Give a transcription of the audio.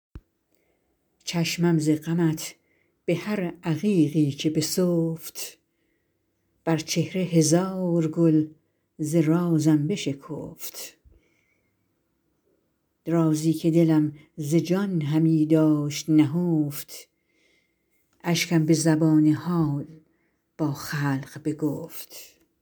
چشمم ز غمت به هر عقیقی که بسفت بر چهره هزار گل ز رازم بشکفت رازی که دلم ز جان همی داشت نهفت اشکم به زبان حال با خلق بگفت